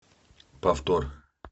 повтор